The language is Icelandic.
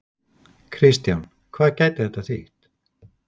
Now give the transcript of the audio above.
Kristján, hvað gæti þetta þýtt?